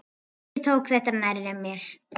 Ég tók þetta nærri mér.